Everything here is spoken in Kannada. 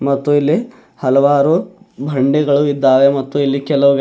ಮತ್ತು ಇಲ್ಲಿ ಹಲವಾರು ಬಂಡಿಗಳು ಇದ್ದಾವೆ ಮತ್ತು ಇಲ್ಲಿ ಕೆಲವು ವ್ಯಕ್--